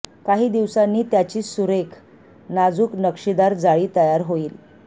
काही दिवसांनी त्याची सुरेख नाजूक नक्षीदार जाळी तयार होई